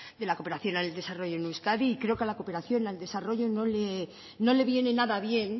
de la cooperación al desarrollo en euskadi y creo que a la cooperación y al desarrollo no le viene nada bien